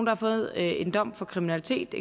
har fået en dom for kriminalitet